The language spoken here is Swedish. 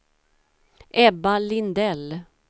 Ebba Lindell